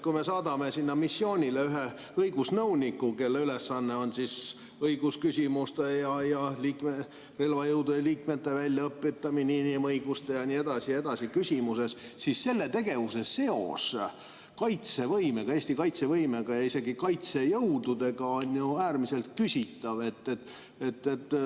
Kui me saadame sinna missioonile ühe õigusnõuniku, kelle ülesanne on õigusküsimused ja relvajõudude liikmete väljaõpetamine inimõiguste ja nii edasi küsimustes, siis selle tegevuse seos Eesti kaitsevõimega ja isegi kaitsejõududega on ju äärmiselt küsitav.